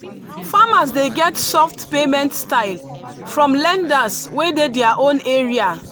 farmers dey get soft payment style from lenders wey dey their own area.